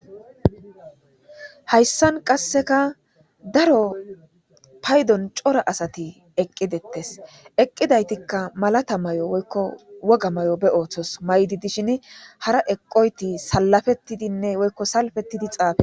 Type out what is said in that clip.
Haysan qaseka daro paydon cora asati eqi detes, eqidaytika malata mayo woyko wogga mayo be oothosi mayid dishn hara eqoyti salapetidinne woyko salpetidi xaafetishe..